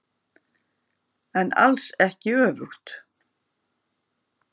En alls ekki öfugt.